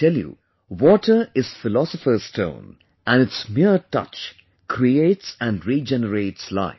I tell you, water is philosopher's stone and its mere touch creates and regenerates life